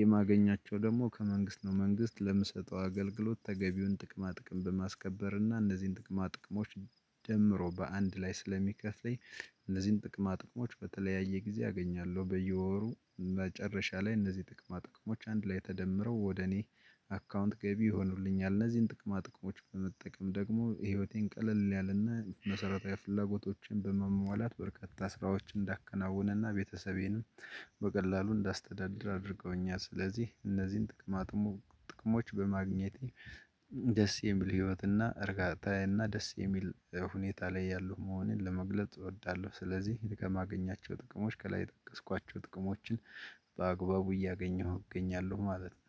የማገኛቸው ደግሞ ከመንግስት ነው። መንግስት ለምሰጠው አገልግሎት ተገቢውን ጥቅማ ጥቅም በማስከበር እና እነዚህን ጥቅማ ጥቅሞች ደምሮ በአንድ ላይ ስለሚከፍለኝ። እነዚህን ጥቅማ ጥቅሞች በተለያየ ጊዜ አገኛለሁ። በየወሩ መጨረሻ ላይ እነዚህ ጥቅማ ጥቅሞች አንድ ላይ ተደምረው ወደ እኔ አካውንት ገቢ ይሆኑልኛል። እነዚህን ጥቅማ ጥቅሞች በመጠቀም ደግሞ ህይወቴን ቀለል ያለና መሰረታዊ ፍላጎቶችን በመሟላት በርካታ ስራዎችን እንዳከናውነና ቤተሰቤንም በቀላሉ እንዳስተዳድር። አድርገው እኛ ስለዚህ እነዚህን ጥቅማጥሙ ጥቅሞች በማግኘቴ ደስ የሚል ህይወት እና እርጋታ እና ደስ የሚል ሁኔታ ላይ ያለው መሆኔን ለመግለጽ እወዳለሁ። ስለዚህ ከማገኛቸው ጥቅሞች ከላይ የጠቀስኳቸው ጥቅሞችን በአግባቡ እያገኘሁ እገኛለሁ ማለት ነው